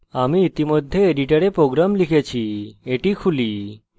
আমি ইতিমধ্যে editor program লিখেছি এটি খুলি